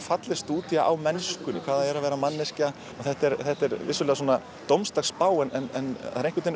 falleg stúdía á mennskuna hvað það er að vera manneskja þetta er þetta er vissulega dómsdagsspá en